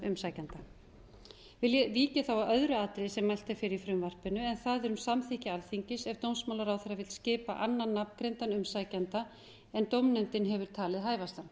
vík ég nú að öðru atriði sem mælt er fyrir í frumvarpinu en það er um samþykki alþingis ef dómsmálaráðherra vill skipa annan nafngreindan umsækjanda en dómnefndin hefur talið hæfastan